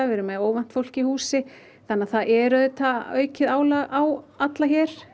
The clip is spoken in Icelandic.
við erum með óvant fólk í húsi þannig að það er aukið álag á alla hér